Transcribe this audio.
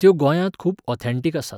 त्यो गोंयांत खूब ऑथॅण्टिक आसात.